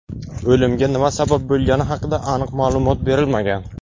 O‘limga nima sabab bo‘lgani haqida aniq ma’lumot berilmagan.